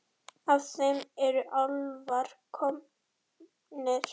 Af þeim eru álfar komnir.